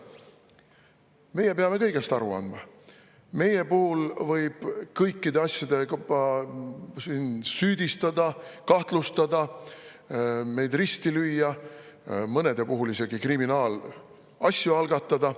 Meie peame kõigest aru andma, meid võib kõikides asjades süüdistada, kahtlustada, risti lüüa, mõne puhul võib isegi kriminaalasju algatada.